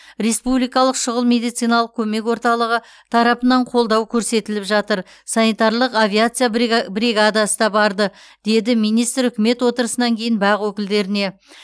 республикалық шұғыл медициналық көмек орталығы тарапынан қолдау көрсетіліп жатыр санитарлық авиация брига бригадасы да барды деді министр үкімет отырысынан кейін бақ өкілдеріне